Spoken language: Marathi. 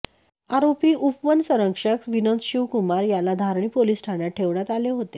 आरोपी उपवनसंरक्षक विनोद शिवकुमार याला धारणी पोलीस ठाण्यात ठेवण्यात आले होते